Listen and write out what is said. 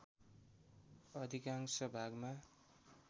अधिकांश भागमा